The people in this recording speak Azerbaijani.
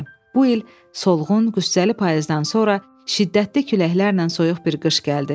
Bu il solğun, qüssəli payızdan sonra şiddətli küləklərlə soyuq bir qış gəldi.